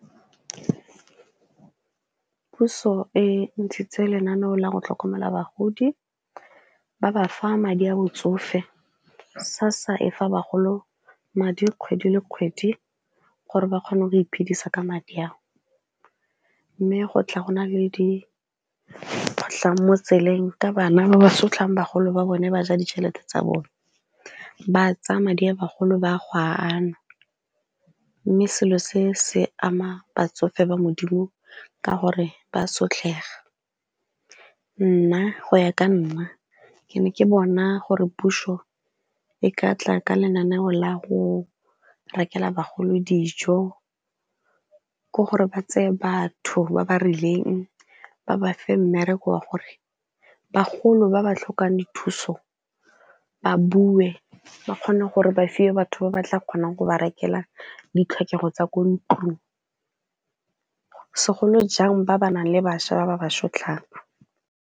Puso e ntshitse lenaneo la go tlhokomela bagodi ba ba fa madi a botsofe SASSA e fa bagolo madi kgwedi le kgwedi gore ba kgone go iphidisa ka madi ao, mme go tla go na le dikgotlhang mo tseleng ka bana ba ba sotlang bagolo ba bone ba ja ditšhelete tsa bone, ba tsaya madi a bagolo ba go a anwa. Mme selo se se ama batsofe ba modimo ka gore ba sotlhega, nna go ya ka nna ke ne ke bona gore puso e ka tla ka lenaneo la go rekela bagolo dijo ke gore ba tseye batho ba ba rileng ba ba fa mmereko wa gore bagolo ba ba tlhokang dithuso ba bue ba kgone gore ba fiwe batho ba ba tla kgonang go berekela ditlhokego tsa ko ntlong, segolo jang ba ba nang le bašwa ba ba sotlang.